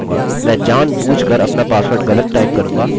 मैं जानबूझकर अपना पासवर्ड गलत टाइप करूँगा और अतः मैं इसे टाइप करूँगा